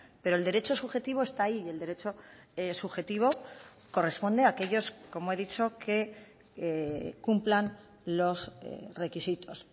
pero el derecho subjetivo está ahí y el derecho subjetivo corresponde a aquellos como he dicho que cumplan los requisitos